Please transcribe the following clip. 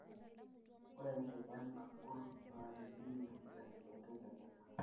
Ore enkike nagol na kidimie esiai meteleleka.